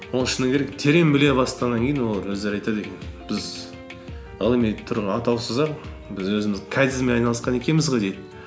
оның шыны керек терең біле бастағаннан кейін олар өздері айтады екен біз ғылыми атаусыз ақ біз өзіміз кайдзенмен айналысқан екенбіз ғой дейді